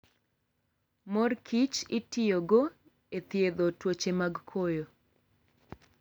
Mor kich itiyogo e thiedho tuoche mag koyo